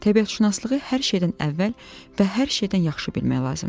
Təbiətşünaslığı hər şeydən əvvəl və hər şeydən yaxşı bilmək lazımdır.